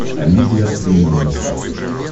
амедиа премиум на смотрешке